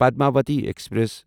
Padmavati express